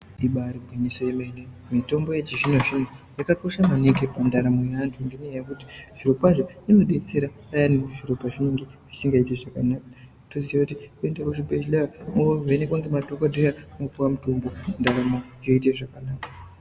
Ibari gwinyiso remene mitombo yechizvinozvino yakakosha maningi pandaramo yeanhu ngenyaya yekuti zvirokwazvo inodetsera payani zviro pazvinenge zvisingaiti zvakanaka toziyekuti toende kuzvibhehleya movhenekwa ngemadhokodheya mwopuwa mutombo ndaramo yoita zvakanaka.